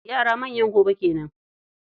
Yara manyan gobe kenan.